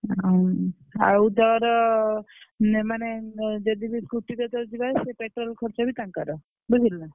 ଅଁ Science ଆଉ ତୋର ନା ମାନେ ଯଦି ବି scooty ବି ତତେ ଦେବେ ସେ petrol ଖର୍ଚ ବି ତାଙ୍କର ବୁଝିଲୁନା।